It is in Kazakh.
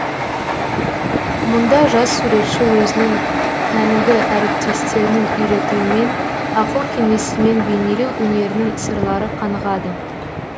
мұнда жас суретші өзінің кәнігі әріптестерінің үйретуімен ақыл кеңесімен бейнелеу өнерінің сырлары қанығады